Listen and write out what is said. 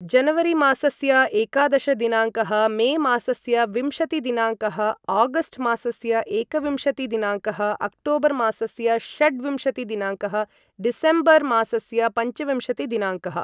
जनवरीमासस्य एकादश दिनाङ्कः मे मासस्य विंशति दिनाङ्क्ः आगस्ट् मासस्य एकविंशतिदिनाङ्कः अक्टोबर् मासस्य षड्विशति दिनाङ्कः डिसेम्वर् मासस्य पञ्चविंशति दिनाङ्कः ।